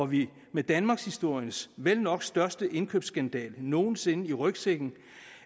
vi med danmarkshistoriens vel nok største indkøbsskandale nogen sinde i rygsækken